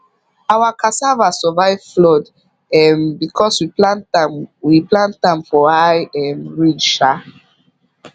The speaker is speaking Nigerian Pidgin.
our cassava survive flood um because we plant am we plant am for high um ridge um